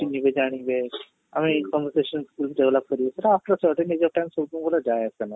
ଚିନ୍ହିବେ ଜାଣିବେ ଆମେ ଏଇ conversation develop କରୁ ନିଜ time ସବୁବେଳେ ଯାଏ ଆସେନା